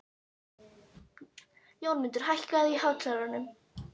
Jónmundur, hækkaðu í hátalaranum.